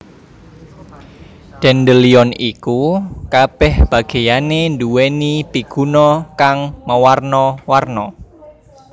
Dandelion iku kabèh bagéyané nduwèni piguna kang mawarna warna